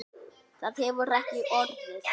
Það hefur ekki orðið.